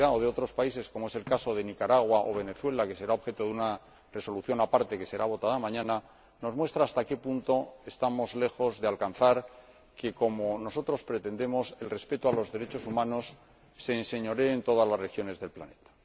otros países, como es el caso de Nicaragua o Venezuela, que será objeto de una resolución aparte, que será votada mañana, nos muestra hasta qué punto estamos lejos de conseguir que, como nosotros pretendemos, el respeto a los derechos humanos se enseñoree de todas las regiones del planeta.